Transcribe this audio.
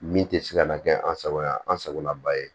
Min tɛ se ka na kɛ an sago ye an sagolaba ye